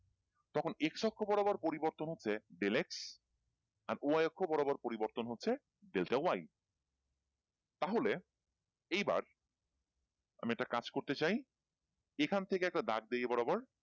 তখন x অক্ষ বরাবর পরিবর্তন হচ্ছে del x আর y অক্ষ বরাবর পরিবর্তন হচ্ছে delta y তাহলে এইবার আমি একটা কাজ করতে চাই এখান থেকে একটা দাগ দিই এই বরাবর।